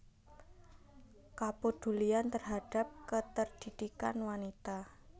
Kepedulian terhadap keterdidikan wanita